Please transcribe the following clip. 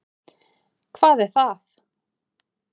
Hvað er það?